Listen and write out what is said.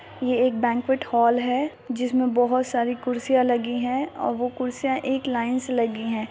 यह banquet hall है जिसमें बहुत सारी कुर्सियां लगी हैं और वो कुर्सियां एक लाईन से लगी है।